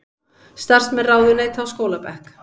Starfsmenn ráðuneyta á skólabekk